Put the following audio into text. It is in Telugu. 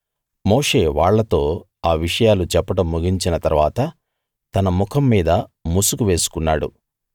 మోషే వాళ్ళతో ఆ విషయాలు చెప్పడం ముగించిన తరువాత తన ముఖం మీద ముసుగు వేసుకున్నాడు